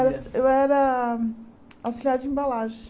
Era axi eu era auxiliar de embalagem.